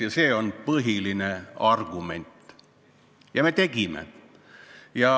" Ja see on põhiline argument.